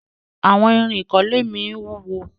àwon Irin ikole mí wúwo.